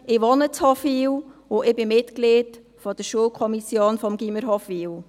Ich wohne in Hofwil und bin Mitglied der Schulkommission des Gymnasiums Hofwil.